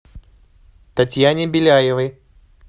татьяне беляевой